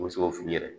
U bɛ se k'o f'u yɛrɛ ye